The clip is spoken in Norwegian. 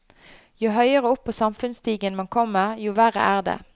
Jo høyere opp på samfunnsstigen man kommer, jo verre er det.